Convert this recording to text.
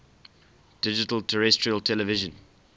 digital terrestrial television